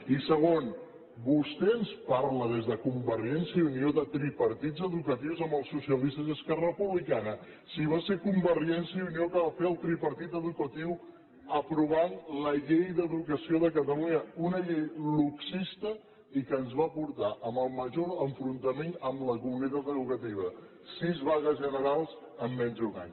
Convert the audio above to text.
i segon vostè ens parla des de convergència i unió de tripartits educatius amb els socialistes i esquerra republicana si va ser convergència i unió que va fer el tripartit educatiu aprovant la llei d’educació de catalunya una llei luxista i que ens va portar al major enfrontament amb la comunitat educativa sis vagues generals en menys d’un any